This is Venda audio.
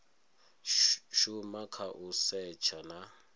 shuma kha u setsha na